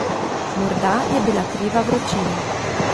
Morda je bila kriva vročina.